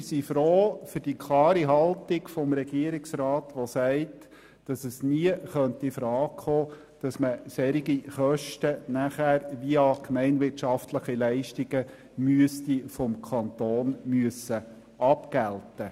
Bei Punkt 3 sind wir froh über die klare Haltung des Regierungsrats, der sagt, dass es nie in Frage käme, solche Kosten nachher via gemeinwirtschaftliche Leistungen durch den Kanton abgelten lassen zu müssen.